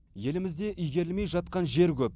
елімізде игерілмей жатқан жер көп